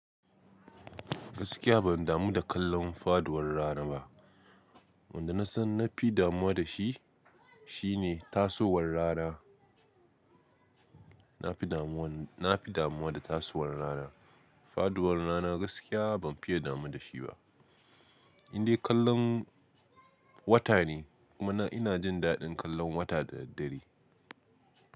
Gaskiya ban damu da kallon faduwar rana ba. Wanda na san na fi damuwa da shi, shine tasowar rana. Na fi damuwan, na fi damuwa da tasowar rana. Faduwar rana gaskiya ban fiye damu da shi ba. Indai kallon wata ne kuma ina jin daɗin kallon wata da daddare.